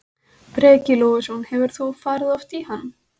Breki Logason: Hefur þú farið oft í hann?